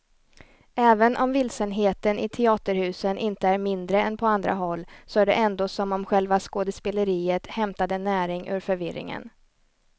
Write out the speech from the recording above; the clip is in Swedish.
Även om vilsenheten i teaterhusen inte är mindre än på andra håll så är det ändå som om själva skådespeleriet hämtade näring ur förvirringen.